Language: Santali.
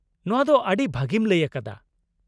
ᱱᱚᱶᱟ ᱫᱚ ᱟᱹᱰᱤ ᱵᱷᱟᱹᱜᱤᱢ ᱞᱟᱹᱭ ᱟᱠᱟᱫᱟ ᱾